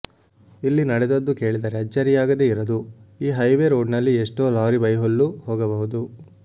ಇಲ್ಲಿ ನಡೆದದ್ದು ಕೇಳಿದರೆ ಅಚ್ಚರಿಯಾಗದೆ ಇರದು ಈ ಹೈವೇ ರೋಡ್ನಲ್ಲಿ ಎಷ್ಟೋ ಲಾರಿ ಬೈಹುಲ್ಲು ಹೋಗಬಹುದು